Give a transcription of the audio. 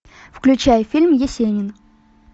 включай фильм есенин